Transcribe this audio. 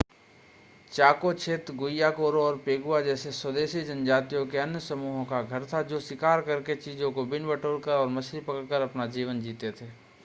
चाको क्षेत्र गुइयाकुरो और पेगुआ जैसे स्वदेशी जनजातियों के अन्य समूहों का घर था जो शिकार करके चीजों को बीन-बटोर कर और मछली पकड़ कर अपना जीवन जीते थे